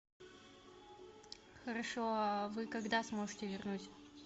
хорошо а вы когда сможете вернуть